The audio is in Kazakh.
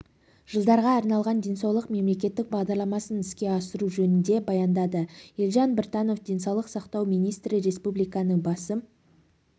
жылдарға арналған денсаулық мемлекеттік бағдарламасын іске асыру жөнінде баяндады елжан біртанов денсаулық сақтау министрі республиканың басым